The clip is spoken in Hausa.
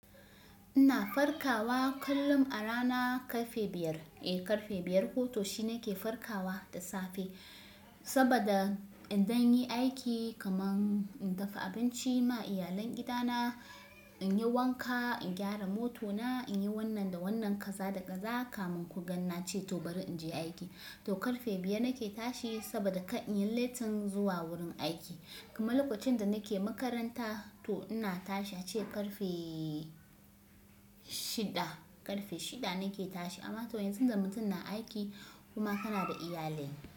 Ina farkawa kullum a rana karfe biyar. Eh, karfe biyar ko to shine ke farkawa da safe saboda in don yi aiki kaman in dafa abinci ma iyalan gida na, in yi wanka, in gyara motona, in yi wannan da wannan kaza da kaza kaman ku ganna ce to bari in je aiki. To karfe biyar nake tashi saboda kar in yi letin zuwa wurin aiki. Kaman lokacin da nake makaranta to ina tashi ace karfe shida, karfe shida nake tashi amma to yanzu da mutum na aiki kuma kana da iyalin.